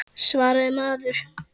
Svaraðu maður.